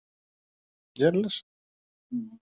Við erum í baráttu við önnur félög.